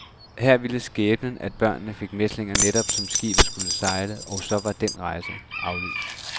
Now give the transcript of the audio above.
Her ville skæbnen, at børnene fik mæslinger netop som skibet skulle sejle, og så var den rejse aflyst.